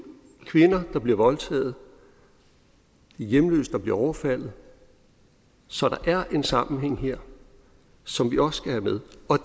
kvinder der bliver voldtaget og hjemløse der bliver overfaldet så der er en sammenhæng her som vi også skal have med og